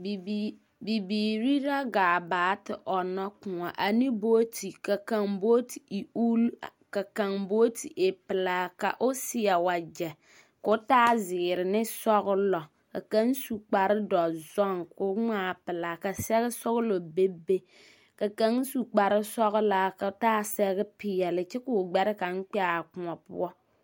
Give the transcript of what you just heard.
Bibiiri la gaa baa te ɔnnɔ kõɔ ne booti. Ka kaŋ booti e ul, ka kaŋ booti e pelaa ka o seɛ wagyɛ ka o taa zeere ne sɔgelɔ k akaŋ su kpare dɔzɔŋ ka o ŋmaa pelaa ka sɛge sɔgelɔ bebe. Ka kaŋ su kpare sɔgelaa ka o taa sɛge peɛle kyɛ ka o gbɛre kaŋ kpɛ a kõɔ poɔ.